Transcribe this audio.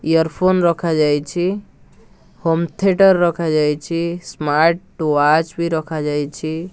Earphone ରଖାଯାଇଛି home theatre ରଖାଯାଇଛି smart watch ବି ରଖାଯାଇଛି।